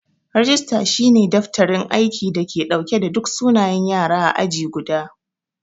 Rajista shi ne daftarin aiki da ke dauke da duk sunayen Yara ã aji guda.